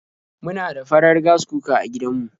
Muna da farar Gas cooker a gidan mu.